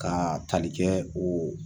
Kaa tali kɛ o